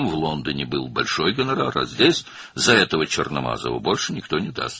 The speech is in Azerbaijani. Londonda böyük qonorar var idi, amma burada bu qaradərili üçün heç kim daha çox verməz.